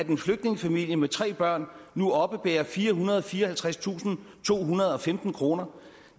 en flygtningefamilie med tre børn nu oppebærer firehundrede og fireoghalvtredstusindtohundrede og femten kroner om